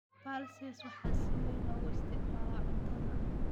Pulses waxaa si weyn loogu isticmaalaa cuntada.